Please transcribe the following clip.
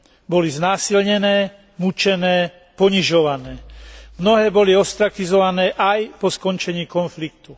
Boli znásilnené, mučené, ponižované. Mnohé boli ostrakizované aj po skončení konfliktu.